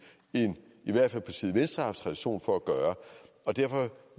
end i hvert fald partiet venstre har haft tradition for og derfor